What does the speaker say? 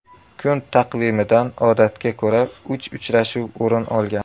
Kun taqvimidan odatga ko‘ra uch uchrashuv o‘rin olgan.